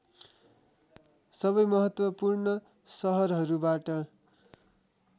सबै महत्त्वपूर्ण सहरहरूबाट